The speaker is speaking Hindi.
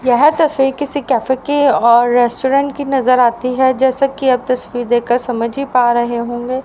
यह तस्वीर किसी कैफे की और रेस्टोरेंट की नजर आती है जैसे कि आप तस्वीर देखकर समझ ही पा रहे होंगे।